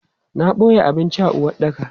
Na boye abinci a uwaɗɗaka.